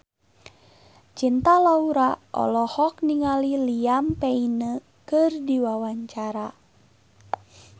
Cinta Laura olohok ningali Liam Payne keur diwawancara